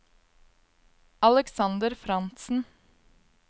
Alexander Frantzen